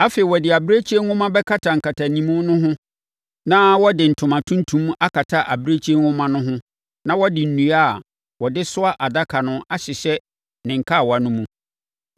Afei, wɔde abirekyie nwoma bɛkata nkatanimu no ho na wɔde ntoma tuntum akata abirekyie nhoma no ho na wɔde nnua a wɔde soa adaka no ahyehyɛ ne nkawa no mu.